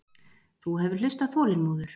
Þú hefur hlustað þolinmóður.